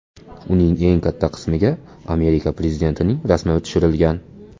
Uning eng katta qismiga Amerika prezidentining rasmi tushirilgan.